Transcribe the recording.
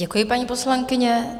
Děkuji, paní poslankyně.